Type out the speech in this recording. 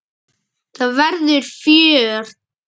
Það verður fjör.